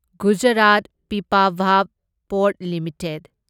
Gujarat Pipavav port limited